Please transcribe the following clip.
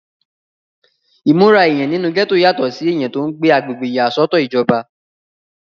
ìmúra èèyàn nínú gẹ́tò yàtọ̀ sí èèyàn tí ó ń gbé agbègbè ìyàsọ́tọ̀ ìjọba